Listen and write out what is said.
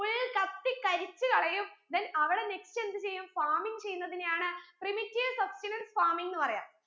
full കത്തി കരിച്ചു കളയും then അവിടെ next എന്ത് ചെയ്യും farming ചെയ്യുന്നതിനെയാണ് primitive substenance farming ന്ന് പറയാ